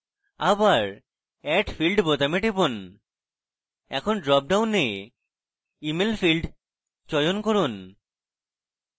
আবার add field বোতামে টিপুন এখন drop ডাউনে email field চয়ন করুন